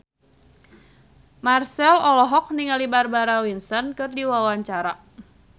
Marchell olohok ningali Barbara Windsor keur diwawancara